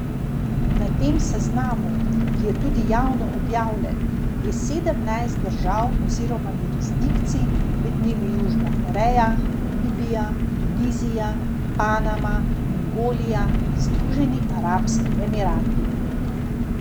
Na tem seznamu, ki je tudi javno objavljen, je sedemnajst držav oziroma jurisdikcij, med njimi Južna Koreja, Namibija, Tunizija, Panama, Mongolija in Združeni arabski emirati.